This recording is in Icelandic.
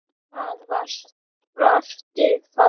Hvað þú varst falleg.